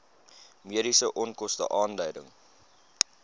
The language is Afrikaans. mediese onkoste aanleiding